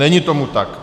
Není tomu tak.